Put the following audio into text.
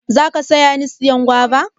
za ka taya ni siyan guava?